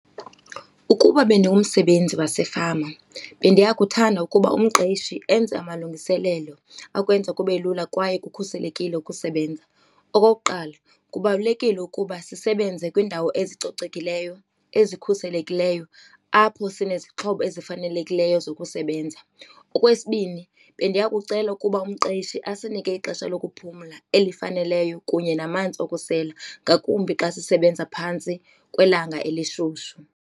Ukuba bendingumsebenzi wasefama bendiya kuthanda ukuba umqeshi enze amalungiselelo akwenza kube lula kwaye kukhuselekile ukusebenza. Okokuqala kubalulekile ukuba sisebenze kwiindawo ezicocekileyo, ezikhuselekileyo apho sinezixhobo ezifanelekileyo zokusebenza. Okwesibini bendiya kucela ukuba umqeshi asinike ixesha lokuphumla elifaneleyo kunye namanzi okusela ngakumbi xa sisebenza phantsi kwelanga elishushu.